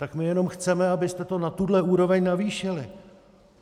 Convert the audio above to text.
Tak my jenom chceme, abyste to na tuhle úroveň navýšili.